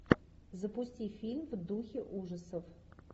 запусти фильм в духе ужасов